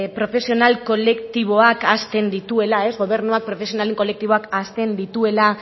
profesional kolektiboak ahazten dituela gobernuak profesionalen kolektiboak ahazten dituela